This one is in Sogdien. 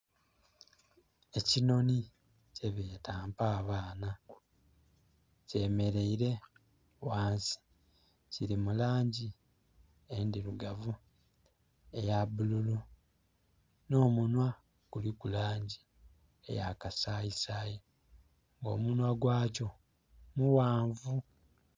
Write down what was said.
Ekinoni kyebeta mpa abaana kyemeleire ghansi kili mulangi endhiriugavu, eyabululu n'omunhwa guliku langi eya kasayisayi, omunhwa gwakyo mughanvu